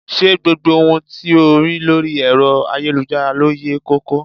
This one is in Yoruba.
Ṣé gbogbo ohun tí o rí lórí ẹ̀rọ ayélujára ló yẹ ko ko?